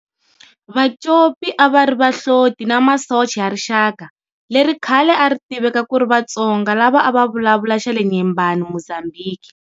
Vacopi a va ri vahloti na masocha ya rixaka leri khale a ri tiveka kuri "vaTsonga" lava a va vulavula xa le Nyembani, Mozambique.